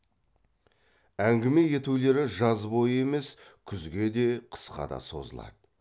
әңгіме етулері жаз бойы емес күзге де қысқа да созылады